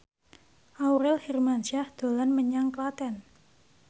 Aurel Hermansyah dolan menyang Klaten